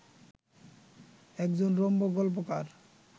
একজন রম্য গল্পকার